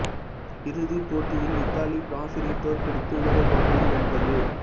இறுதிப் போட்டியில் இத்தாலி பிரான்சினைத் தோற்கடித்து உலகக் கோப்பையை வென்றது